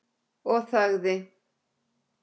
Og þagði.